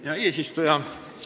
Hea eesistuja!